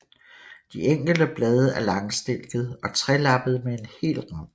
De enkelte blade er langstilkede og trelappede med hel rand